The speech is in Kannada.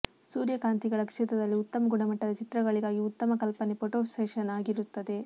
ಸೂರ್ಯಕಾಂತಿಗಳ ಕ್ಷೇತ್ರದಲ್ಲಿ ಉತ್ತಮ ಗುಣಮಟ್ಟದ ಚಿತ್ರಗಳಿಗಾಗಿ ಉತ್ತಮ ಕಲ್ಪನೆ ಫೋಟೋ ಸೆಶನ್ ಆಗಿರುತ್ತದೆ